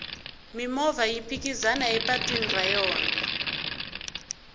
mimovha yi phikizana epatwini ra yona